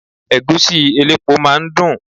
Ẹ̀gúsí elépo máa ń dùn.